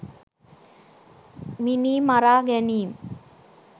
මිනී මරා ගැනීම්